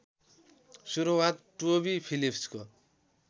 सुरुवात टोबी फिलिप्सको